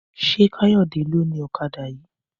Ṣé Káyọ̀dé ló ni ọ̀kadà yìí?